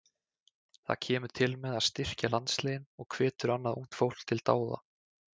Það kemur til með að styrkja landsliðin og hvetur annað ungt fólk til dáða.